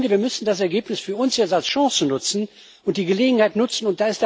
Ich finde, wir müssen das Ergebnis für uns jetzt als Chance nutzen und die Gelegenheit nutzen.